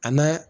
A n'a